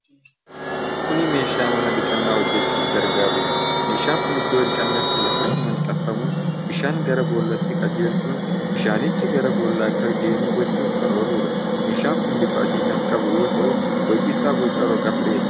Kuni meeshaa mana dhiqannaa hojjachuuf gargaarudha. Meeshaan kun Iddoo dhiqannaatti lafatti maxxanfamuun bishaan gara bool'aatti qajeelchuun bishaanichi gara bool'aa akka deemu gochuuf kan ooludha. Meeshaan kun bifa adii kan qabu, yoo ta'u boci isaa boca rog-afreeti.